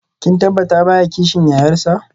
Kin tabbata baya kishin yayarsa?